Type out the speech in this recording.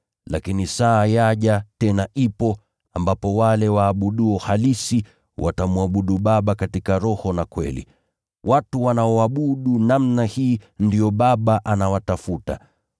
Lakini saa yaja, tena ipo, ambapo wale waabuduo halisi, watamwabudu Baba katika roho na kweli. Watu wanaoabudu namna hii, ndio Baba anawatafuta.